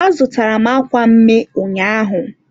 a zụtara m akwa mme ụnyaahụ.